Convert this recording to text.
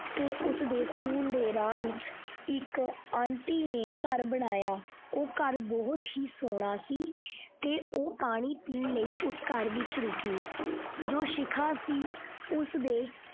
ਤੇ ਉਸਦੇ school ਦੇ ਰਾਹ ਵਿੱਚ ਇੱਕ aunty ਨੇ ਘਰ ਬਣਾਇਆ ਉਹ ਘਰ ਬਹੁਤ ਹੀ ਸੋਹਣਾ ਸੀ ਤੇ ਉਹ ਪਾਣੀ ਪੀਣ ਲਈ ਉਹ ਘਰ ਵਿੱਚ ਰੁਕੀ ਜੋ ਸ਼ਿਖਾ ਸੀ ਉਸਦੇ।